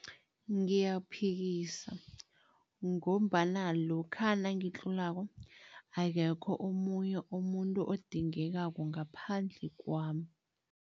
Ngiyaphikisa ngombana lokha nangitlolako, akekho omunye umuntu odingekako ngaphandle kwami.